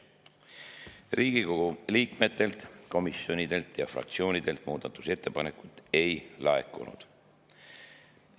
Riigikogu liikmetelt, komisjonidelt ega fraktsioonidelt muudatusettepanekuid ei laekunud.